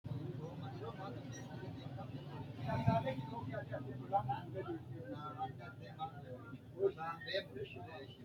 knuni maa leellishanno ? danano maati ? badheenni noori hiitto kuulaati ? mayi horo afirino ? kuni egensshshiishi mayra fulloho borrro maa labbannote